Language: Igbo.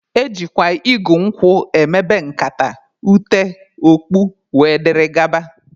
Ejikwa igu nkwụ emebe nkata, ute, okpu wdg